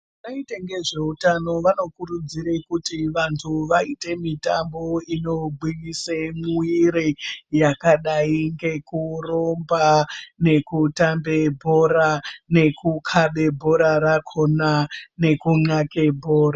Anoite ngezve utano vano kurudzire kuti vantu vaite mitambo ino gwinyise mwiri yakadai ngeku rumba neku tambe bhora neku kabe bhora rakona neku nxake bhora.